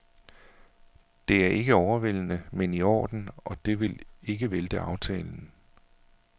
Det er ikke overvældende, men i orden, og det vil ikke vælte aftalen.